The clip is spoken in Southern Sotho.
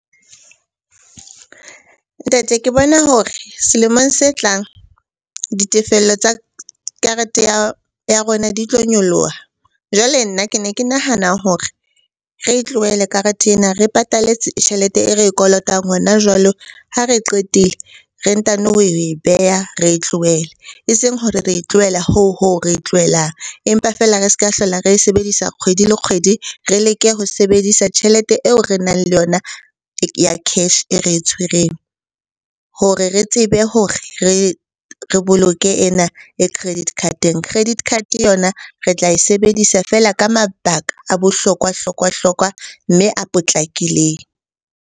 Ntate ke bona hore selemong se tlang ditefello tsa karete ya rona di tlo nyoloha. Jwale nna ke ne ke nahana hore re e tlohele karete ena, re tjhelete e re e kolotang hona jwalo. Ha re qetile re ntano ho e beha, re e tlohele. Eseng hore re e tlohela hoo ho re e tlohelang, empa feela re se ka hlola re e sebedisa kgwedi le kgwedi. Re leke ho sebedisa tjhelete eo re nang le yona ya cash e re tshwereng hore re tsebe hore re boloke ena e credit card-eng. Credit card yona re tla e sebedisa feela ka mabaka a bohlokwa-hlokwa hlokwa, mme a potlakileng.